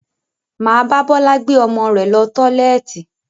Maa ba Bọlá gbé ọmọ rẹ lọ tọ́lẹ́ẹ́tì